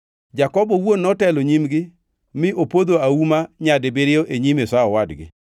Jakobo owuon notelo nyimgi mi opodho auma nyadibiriyo e nyim Esau owadgi.